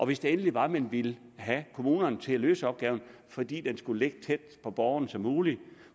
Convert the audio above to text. hvis det endelig var at man ville have kommunerne til at løse opgaven fordi den skulle ligge så tæt på borgerne som muligt